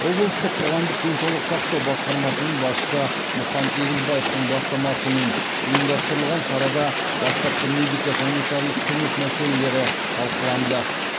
облыстық қоғамдық денсаулық сақтау басқармасының басшысы мұқан егізбаевтың бастамасымен ұйымдастырылған шарада бастапқы медико санитарлық көмек мәселелері талқыланды